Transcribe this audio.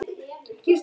Hvað væri sagt þá?